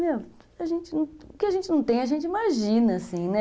Meu, o que a gente não tem, a gente imagina, assim, né?